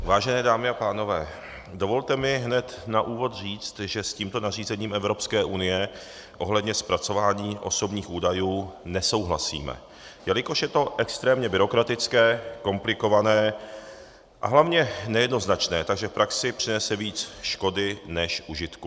Vážené dámy a pánové, dovolte mi hned na úvod říct, že s tímto nařízením Evropské unie ohledně zpracování osobních údajů nesouhlasíme, jelikož je to extrémně byrokratické, komplikované a hlavně nejednoznačné, takže v praxi přinese víc škody než užitku.